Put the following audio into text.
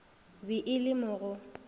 be e le mo go